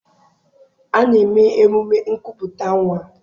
A na-eme emume nkupụta nnwa.